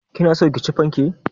Kina so ki ci fanke?